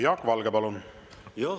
Jaak Valge, palun!